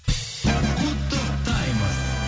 құттықтаймыз